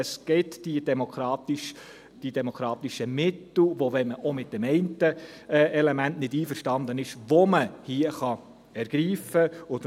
Es gibt die demokratischen Mittel, die man, auch wenn man mit dem einen Element nicht einverstanden ist, hier ergreifen kann.